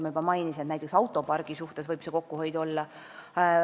Ma juba mainisin, et näiteks autopargi suhtes võib kokkuhoidu olla.